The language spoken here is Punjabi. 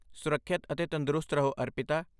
ਸੁਰੱਖਿਅਤ ਅਤੇ ਤੰਦਰੁਸਤ ਰਹੋ ਅਰਪਿਤਾ।